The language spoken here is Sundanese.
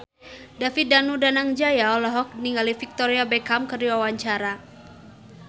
David Danu Danangjaya olohok ningali Victoria Beckham keur diwawancara